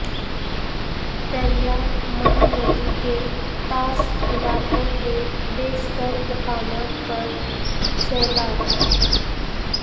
دریا مہاندی کے طاس علاقہ کے بیشتر مقامات پر سیلاب